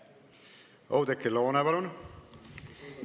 Oudekki Loone, palun!